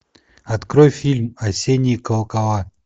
открой фильм осенние колокола